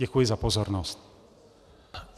Děkuji za pozornost.